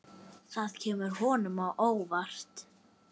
Það kemur honum á óvart.